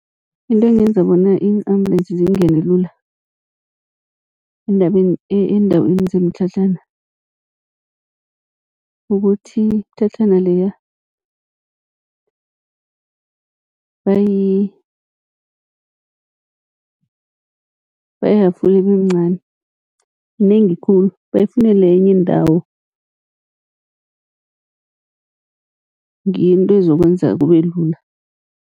Into engenza bona iinambulensi zingene lula eendaweni zemitlhatlhana, ukuthi mtlhatlhana leya bayafule ibe mncani, minengi khulu. Bayifunele enye indawo ngiyo into ezokwenza kube lula.